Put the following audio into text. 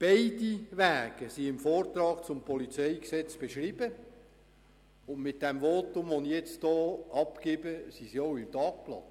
Beide Wege sind in der Vorlage zum PolG beschrieben, und mit dem Votum, das ich jetzt gerade abgebe, stehen sie dann auch im Tagblatt.